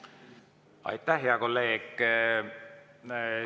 Aitäh, hea kolleeg!